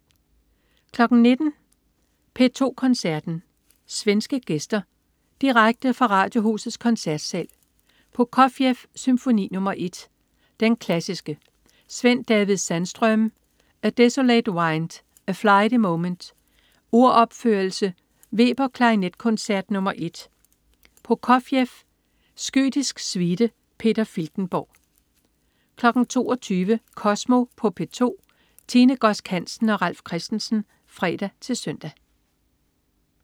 19.00 P2 Koncerten. Svenske gæster. Direkte fra Radiohusets Koncertsal. Prokofjev: Symfoni nr. 1, Den klassiske. Sven-David Sandström: A desolate wind. A flighty Moment. Uropførelse. Weber: Klarinetkoncert nr. 1. Prokofjev: Skytisk suite. Peter Filtenborg 22.00 Kosmo på P2. Tine Godsk Hansen og Ralf Christensen (fre-søn)